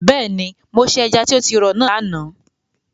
Bẹ́ẹ̀ni, mo se ẹja tí o ti rọ̀ náà lánàá.